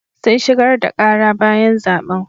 Sun shigar da ƙara bayan zaɓen.